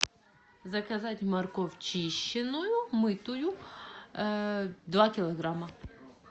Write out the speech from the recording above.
заказать морковь чищенную мытую два килограмма